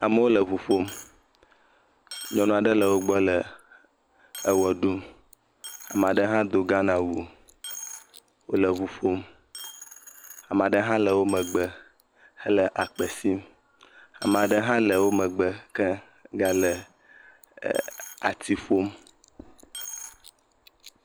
Amewo le ŋu ƒom, nyɔnu aɖe le wo gbɔ le ewɔ ɖum, ame aɖe do Ghanawu, wòle ŋu ƒom, ame aɖe hã le wo megbe gale akpe sim, ame aɖe hã le wo megbe ke gale ati ƒom.